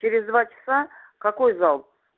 через два часа какой зал